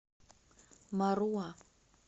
маруа